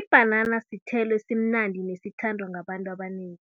Ibhanana sithelo esimnandi nesithandwa ngabantu abanengi.